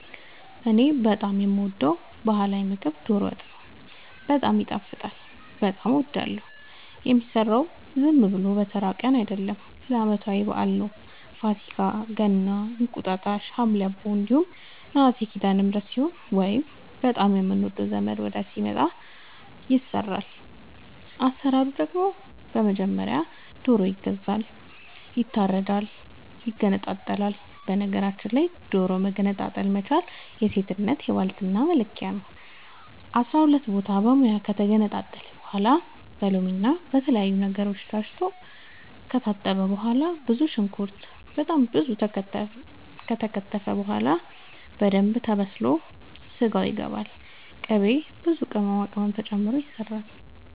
እኔ በጣም የምወደው በህላዊ ምግብ ዶሮ ወጥ ነው። በጣም ይጣፍጣል በጣም አወዳለሁ። የሚሰራውም ዝም ብሎ በተራ ቀን አይደለም ለአመታዊ በአል ነው። ፋሲካ ገና እንቁጣጣሽ ሀምሌ አቦ እንዲሁም ነሀሴ ሲዳለምህረት ሲሆን ወይንም በጣም የምንወደው ዘመድ ወዳጅ ሲመጣ። አሰራሩ ደግሞ በመጀመሪያ ዶሮ ይገዛል ይታረዳል ይገነጣጠላል በነገራችል ላይ ዶሮ መገንጠል መቻል የሴትነት የባልትና መለኪያ ነው። አስራሁለት ቦታ በሙያ ከተገነጣጠለ በኋላ በሎምና በተለያዩ ነገሮች ታስቶ ከታጠበ በኋላ ብዙ ሽንኩርት በጣም ብዙ ከተከተፈ በኋላ በደንብ ተበስሎ ስጋው ይገባል ቅቤ ብዙ ቅመማ ቅመም ተጨምሮ ይሰራል